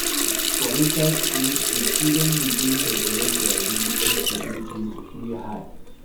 For inside school, di student begin develop di ability to do things wey hard